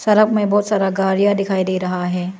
सड़क में बहुत सारा गाड़िया दिखाई दे रहा है।